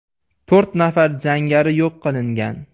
To‘rt nafar jangari yo‘q qilingan.